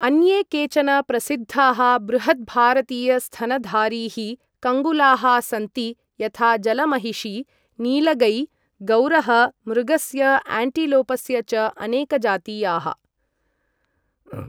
अन्ये केचन प्रसिद्धाः बृहत् भारतीयस्तनधारीः कङ्गुलाः सन्ति, यथा जलमहिषी, नीलगै, गौरः, मृगस्य, एंटीलोपस्य च अनेकजातीयाः ।